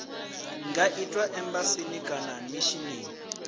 nga itwa embasini kana mishinini